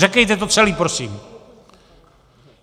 Řekněte to celé prosím!